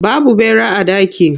Babu ɓera a daki.